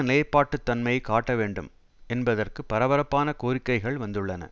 நிலைப்பாட்டுத் தன்மையை காட்ட வேண்டும் என்பதற்கு பரபரப்பான கோரிக்கைகள் வந்துள்ளன